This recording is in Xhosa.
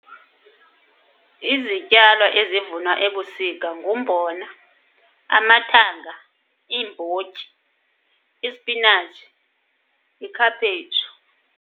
Izityalo ezivunwa ebusika ngumbona, amathanga, iimbotyi, isipinatshi, ikhaphetshu.